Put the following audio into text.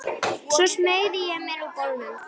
Svo smeygði ég mér úr bolnum.